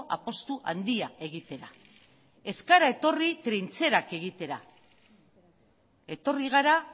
apustu handia egitera ez gara etorri trintxerak egitera etorri gara